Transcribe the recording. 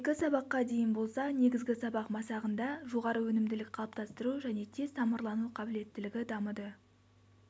екі сабаққа дейін болса негізгі сабақ масағында жоғары өнімділік қалыптастыру және тез тамырлану қабілеттілігі дамыды